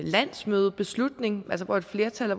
landsmødebeslutning hvor et flertal af